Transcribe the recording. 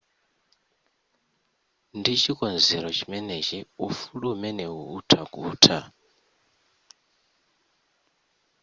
ndi chikonzero chimenechi ufulu umenewu utha kutha